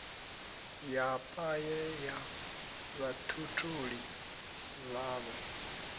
ya paye ya vhatholi vhavho